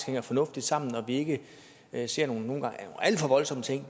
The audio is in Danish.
hænger fornuftigt sammen og at vi ikke ser nogle alt for voldsomme ting